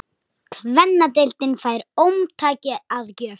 Kvennadeildin fær ómtæki að gjöf